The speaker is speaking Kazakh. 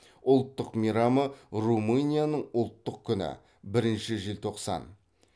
ұлттық мейрамы румынияның ұлттық күні бірінші жетоқсан